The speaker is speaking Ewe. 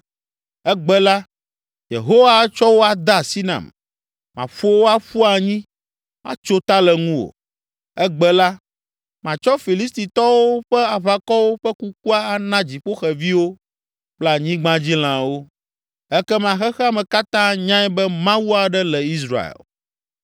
Egbe la, Yehowa atsɔ wò ade asi nam, maƒo wò aƒu anyi, atso ta le nuwò. Egbe la, matsɔ Filistitɔwo ƒe aʋakɔwo ƒe kukua ana dziƒoxeviwo kple anyigbadzilãwo, ekema xexea me katã anyae be Mawu aɖe le Israel.